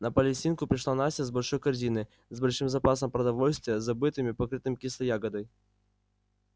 на палестинку пришла настя с большой корзиной с большим запасом продовольствия забытым и покрытым кислой ягодой